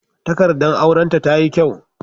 Takaddar auran ta tayi kyau